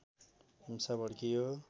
हिंसा भड्कियो